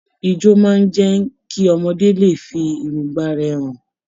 Ijo máa n jẹ kí ọmọdé lè fí èròngbà rẹ hàn.